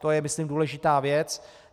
To je myslím důležitá věc.